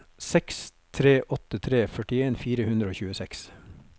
seks tre åtte tre førtien fire hundre og tjueseks